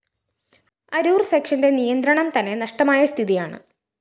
അരൂര്‍ സെക്ഷന്റെ നിയന്ത്രണം തന്നെ നഷ്ടമായ സ്ഥിതിയാണ്